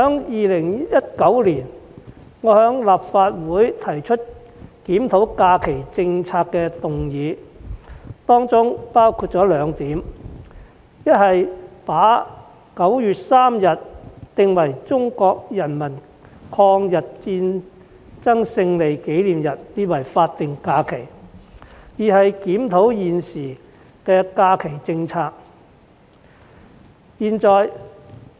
2019年，我在立法會提出檢討假期政策的議案，當中包括兩點，一是把9月3日定為中國人民抗日戰爭勝利紀念日法定假日，二是檢討現時的假期政策。